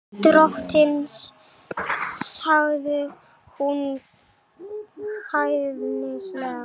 Drottins, sagði hún hæðnislega.